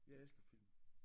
Jeg elsker film